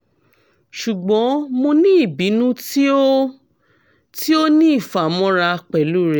ṣugbọn mo ni ibinu ti o ti o ni ifamọra pẹlu rẹ